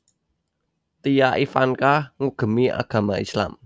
Tia Ivanka nggugemi agama Islam